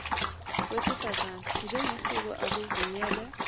wesifazane njengesiko akuvunyelwe